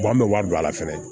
an bɛ wari don a la fɛnɛ